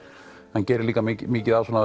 hann gerir mikið af svona